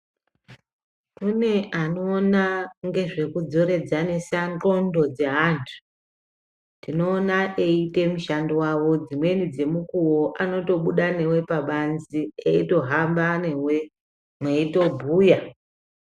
Kune anoona ngezvekudzoredzanisa ndxondo dzaantu. Tinoona veiite mishando yavo, dzimweni dzemukuwo anotobuda newe pabanze eitohamba newe mweitobhuya.